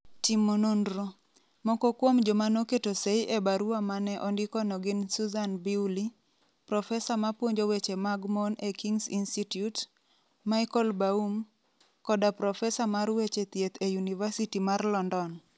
Timo nonro: Moko kuom joma noketo sei e barua ma ne ondikono gin Susan Bewley, profesa ma puonjo weche mag mon e Kings Institute, Michael Baum, koda profesa mar weche thieth e Yunivasiti mar London.